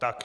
Tak.